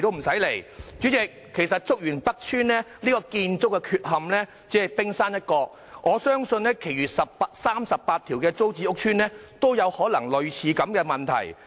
代理主席，其實竹園北邨的建築問題只是冰山一角，我相信其餘38個租置屋邨也可能有類似的問題。